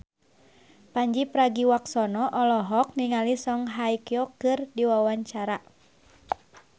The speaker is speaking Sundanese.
Pandji Pragiwaksono olohok ningali Song Hye Kyo keur diwawancara